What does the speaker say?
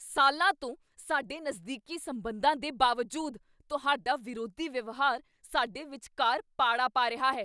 ਸਾਲਾਂ ਤੋਂ ਸਾਡੇ ਨਜ਼ਦੀਕੀ ਸਬੰਧਾਂ ਦੇ ਬਾਵਜੂਦ ਤੁਹਾਡਾ ਵਿਰੋਧੀ ਵਿਵਹਾਰ ਸਾਡੇ ਵਿਚਕਾਰ ਪਾੜਾ ਪਾ ਰਿਹਾ ਹੈ।